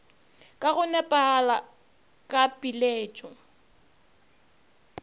ka go nepagala ka piletšo